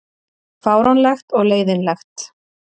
Fáránlegt og leiðinlegt